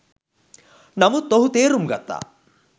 නමුත් ඔහු තේරුම් ගත්තා